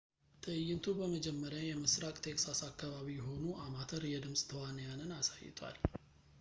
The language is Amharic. ትዕይንቱ በመጀመሪያ የምሥራቅ ቴክሳስ አካባቢ የሆኑ አማተር የድምፅ ተዋንያንን አሳይቷል